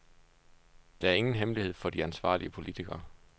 Det er ingen hemmelighed for de ansvarlige politikere.